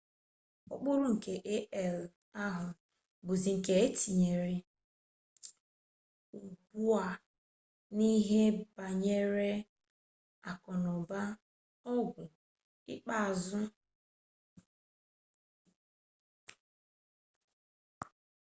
ukpuru nke ai ahu buzi nke ana etinyezi ugbua n'ihe banyere aku-n'uba ogwu ikpu-uzu na ndi-agha dika arunyere n'ime ututu igwe komputa digasi iche-iche ndi ana eji n'ulo ya na ihe ntinye ihe egwuregwu onyonyo